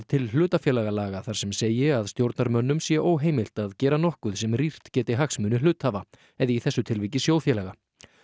til hlutafélagalaga þar sem segi að stjórnarmönnum sé óheimilt að gera nokkuð sem rýrt geti hagsmuni hluthafa eða í þessu tilviki sjóðfélaga